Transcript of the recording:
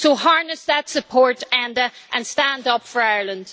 So harness that support, Enda, and stand up for Ireland.